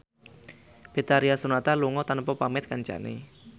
Betharia Sonata lunga tanpa pamit kancane